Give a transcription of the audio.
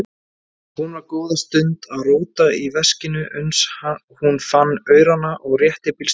Hún var góða stund að róta í veskinu uns hún fann aurana og rétti bílstjóranum.